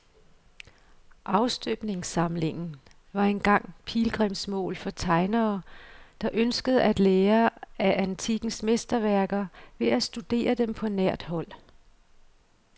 Afstøbningssamlingen var engang pilgrimsmål for tegnere, der ønskede at lære af antikkens mesterværker ved at studere dem på nært hold.